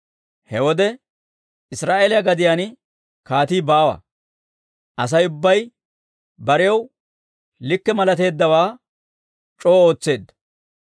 He wode Israa'eeliyaa gadiyaan kaatii baawa; Asay ubbay barew likke malateeddawaa c'oo ootseedda.